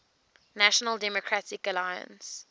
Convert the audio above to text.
national democratic alliance